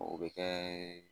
O bɛ kɛ